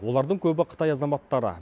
олардың көбі қытай азаматтары